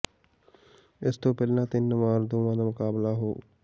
ਇਸ ਤੋਂ ਪਹਿਲਾਂ ਤਿੰਨ ਵਾਰ ਦੋਵਾਂ ਦਾ ਮੁਕਾਬਲਾ ਹੋ